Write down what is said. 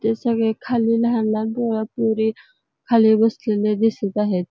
ते सगळे खाली लहान लहान पोर पोरी खाली बसलेले दिसत आहेत.